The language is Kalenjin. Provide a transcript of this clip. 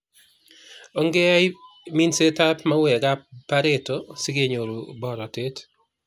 Ong'eyai timsetab mauweekab pareto sig'enyoru boratet